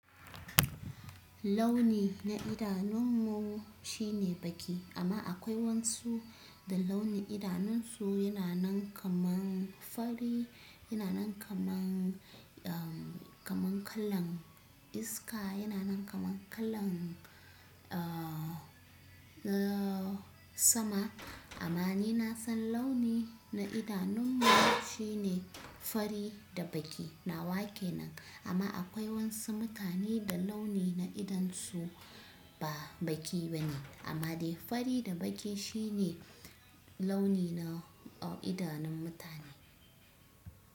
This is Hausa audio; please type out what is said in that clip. Launi na idanunmu shine baki amma akwai wasu da launi idanunsu yana nan kaman fari, yana nan kaman, umm, kaman kalan iska, yana nan kaman kalan, uh, uh, sama. Amma ni na san launi na idanunmu shine fari da baki. Na wa kenan amma akwai wasu mutane da launi na idansu ba baƙi bane amma dai fari da baki shine, launi na idanun mutane.